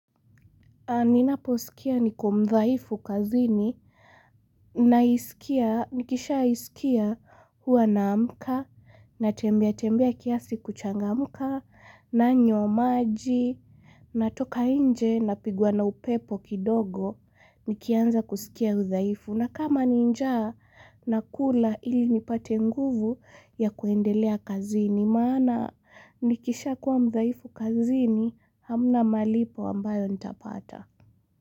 Ninaposkia niko mdhaifu kazini, naisikia, nikisha isikia hua naamka, natembea tembea kiasi kuchangamka, nanywa maji, natoka inje napigwa na upepo kidogo, nikianza kusikia udhaifu. Na kama ni njaa, nakula ili nipate nguvu ya kuendelea kazini, maana nikisha kuwa mdhaifu kazini hamna malipo ambayo nitapata.